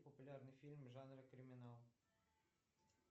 популярный фильм жанра криминал